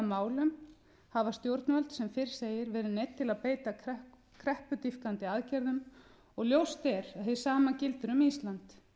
málum hafa stjórnvöld sem fyrr segir verið neydd til að beita kreppudýpkandi aðgerðum og ljóst er að hið sama gildir um ísland